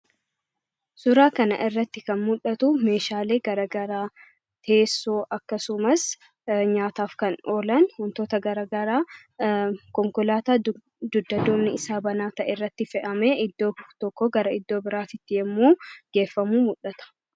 Suuraa kana irratti kan mul'atu meeshaalee garaagaraa teessoo akkasumas nyaataaf kan oolan wantoota garaagaraa konkolaataa dugda duubnisaa banaa ta'e irratti fe'amee iddoo tokkoo gara iddoo biraatti yommuu geeffamu mul'ata.